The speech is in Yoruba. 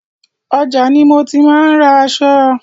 Ọjà ni mo ti máa ń ra aṣọ.